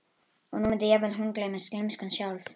Og nú mundi jafnvel hún gleymast, gleymskan sjálf.